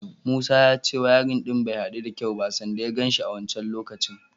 Musa ya ce wayarin ɗin bai haɗu da kyau ba sanda ya gan shi a wancan lokacin.